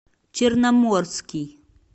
черноморский